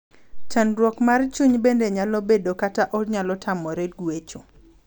chandruok mar chuny bende nyalo bedo kata onyalo tamore guecho.